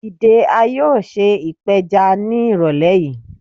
Dide, a yoo ṣe ipeja ni irọlẹ yii